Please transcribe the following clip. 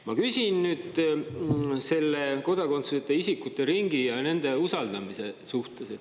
Ma küsin kodakondsuseta isikute ringi ja nende usaldamise kohta.